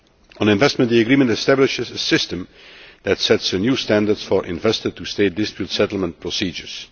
On investment, the agreement establishes a system that sets a new standard for investor to state dispute settlement procedures.